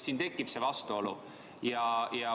Siin tekib vastuolu.